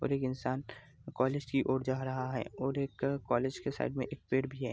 और एक इंसान कॉलेज की ओर जा रहा है और एक कॉलेज के साइड में एक पेड़ भी है।